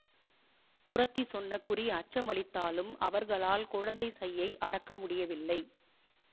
குறத்தி சொன்ன குறி அச்சமளித்தாலும் அவர்களால் குழந்தை சையை அடக்க முடியவில்லை